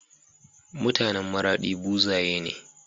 mutAnan maradi buzaye ne